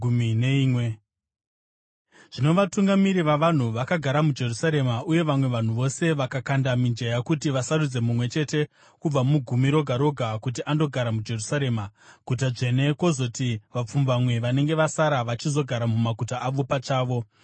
Zvino vatungamiri vavanhu vakagara muJerusarema, uye vamwe vanhu vose vakakanda mijenya kuti vasarudze mumwe chete kubva mugumi roga roga kuti andogara muJerusarema, guta dzvene, kwozoti vapfumbamwe vanenge vasara vachizogara mumaguta avo pachavo.